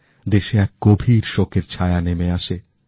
দেশে এক গভীর শোকের ছায়া নেমে আসে